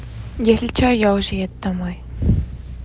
если что я уже еду домой